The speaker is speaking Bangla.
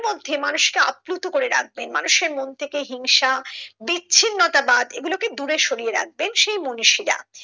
মধ্যে মানুষকে আপ্লুত করে রাখবেন মানুষের মন থেকে হিংসা বিচ্ছিন্নতা বাত এগুলোকে দূরে সরিয়ে রাখবে সেই মনীষীরা।